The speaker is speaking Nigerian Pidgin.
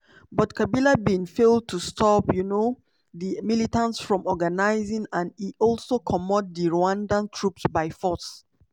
but kabila bin fail to stop um di militants from organising and e also comot di rwandan troops by force.